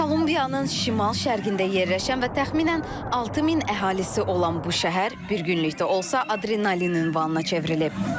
Kolumbiyanın şimal-şərqində yerləşən və təxminən 6000 əhalisi olan bu şəhər bir günlükdə olsa, adrenalinin ünvanına çevrilib.